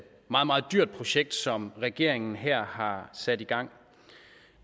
meget meget dyrt projekt som regeringen her har sat i gang